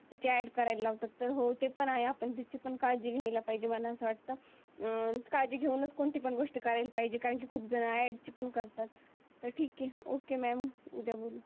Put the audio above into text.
ते की ऍड करायला लावता. तो हो पण हाये आहे तीची पण आपण काळजी घ्यायला पाहिजे. मला अस वाटत. अं काळजी घेऊनच कोणती पण गोष्टी करायला पाहिजे कारण की खूप जुना त्यात ऍड करतात. तर ठीक आहे. ओके मॅम उद्या बोलु